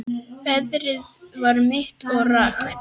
Veðrið var milt og rakt.